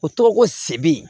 O tɔgɔ ko sebe